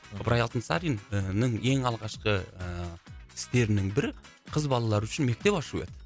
ыбырай алтынсарин ііі ең алғашқы ыыы істерінің бірі қыз балалар үшін мектеп ашу еді